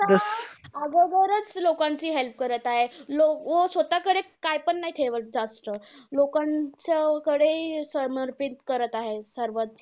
अगोदरचं लोकांची help करत आहे. अं स्वतःकडेचं काहीपण नाय ठेवत जास्त. लोकांच्याकडे समर्पित करत आहे सर्वचं.